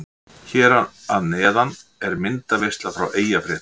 Hér að neðan er myndaveisla frá Eyjafréttum.